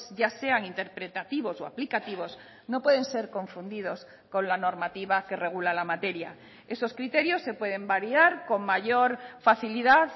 ya sean interpretativos o aplicativos no pueden ser confundidos con la normativa que regula la materia esos criterios se pueden variar con mayor facilidad